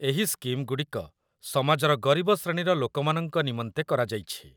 ଏହି ସ୍କିମ୍‌ଗୁଡ଼ିକ ସମାଜର ଗରିବ ଶ୍ରେଣୀର ଲୋକମାନଙ୍କ ନିମନ୍ତେ କରାଯାଇଛି